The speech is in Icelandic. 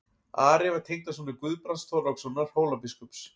Ari var tengdasonur Guðbrands Þorlákssonar Hólabiskups.